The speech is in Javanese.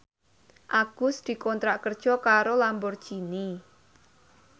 Agus dikontrak kerja karo Lamborghini